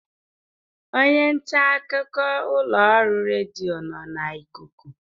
Onye nta akụkọ ụlọ ọrụ redio nọ na ikuku